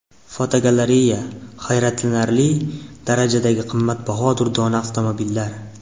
Fotogalereya: Hayratlanarli darajadagi qimmatbaho durdona avtomobillar.